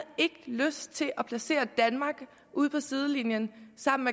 lyst til at placere danmark ud på sidelinjen sammen